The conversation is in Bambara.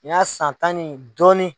Ni y'a san tan ni dɔɔnin.